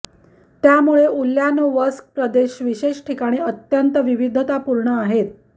त्यामुळे उल्यानोवस्क प्रदेश विशेष ठिकाणी अत्यंत विविधतापूर्ण आहेत